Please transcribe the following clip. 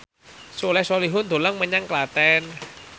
Soleh Solihun dolan menyang Klaten